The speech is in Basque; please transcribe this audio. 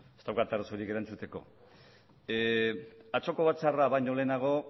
ez daukat arazorik erantzuteko atzoko batzarra baino lehenago